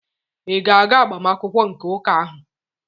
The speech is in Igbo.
Ị ga-aga agbamakwụkwọ nke ụka ahụ?